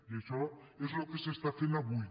i això és el que s’està fent avui